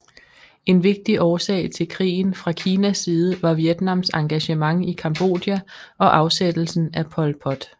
En vigtig årsag til krigen fra Kinas side var Vietnams engagement i Cambodja og afsættelsen af Pol Pot